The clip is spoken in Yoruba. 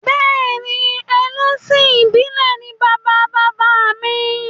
Bẹ́ẹ̀ni ẹlẹ́sìn ìbílè ni bàba bàbá mi